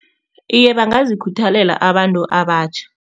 Iye, bangazikhuthalela abantu abatjha.